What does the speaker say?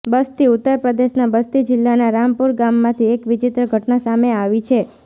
બસ્તીઃ ઉત્તર પ્રદેશના બસ્તી જિલ્લાના રામપુર ગામમાંથી એક વિચિત્ર ઘટના સામે આવી છે